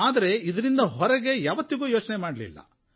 ಆದರೆ ನಾವು ಈ ಚೌಕಟ್ಟಿನಿಂದ ಹೊರಗೆ ಯಾವತ್ತೂ ಯೋಚನೆ ಮಾಡಲಿಲ್ಲ